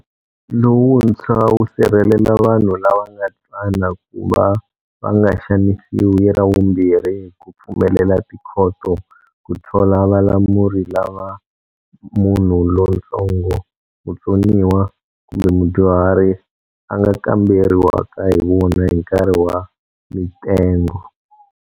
Lowuntshwa wu sirhelela vanhu lava nga tsana ku va va nga xanisiwi ravumbirhi hi ku pfumelela tikhoto ku thola valamuri lava munhu lontsongo, mutsoniwa kumbe mudyuhari a nga kamberiwaka hi vona hi nkarhi wa mitengo.